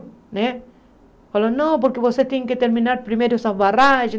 Né ele falou, não, porque você tem que terminar primeiro essa barragem.